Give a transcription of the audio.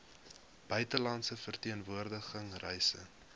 buitelandse verteenwoordiging reise